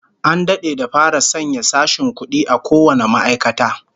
An dade da fara sanya sashen kudi a kowane ma'aikata